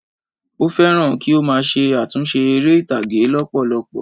Ó fẹ́ràn kí ó má a se àtúnse eré ìtàgé lópòlopò